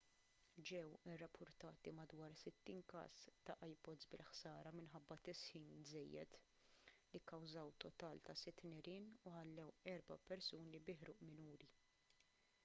ġew irrappurtati madwar 60 każ ta' ipods bil-ħsara minħabba tisħin żejjed li kkawżaw total ta' sitt nirien u ħallew erba' persuni bi ħruq minuri